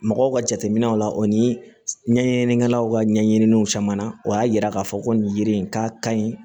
Mɔgɔw ka jateminɛw la o ni ɲɛɲininikɛlaw ka ɲɛɲininw caman na o y'a yira k'a fɔ ko nin yiri in k'a kaɲi